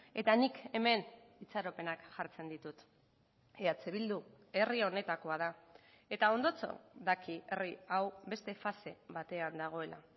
eta nik hemen itxaropenak jartzen ditut eh bildu herri honetakoa da eta ondotxo daki herri hau beste fase batean dagoela